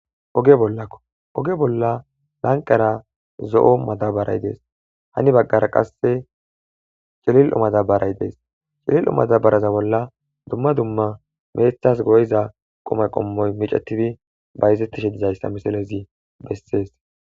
Oge bollakko oge bolla lanqara zo'o madabaray dees hani baggara qasse cilil'u madabaray dees cilil'u madabaraza bolla dumma dumma meethas go'iza qoma qommoy micetifi bayizettishe dizayssa misalezi bessees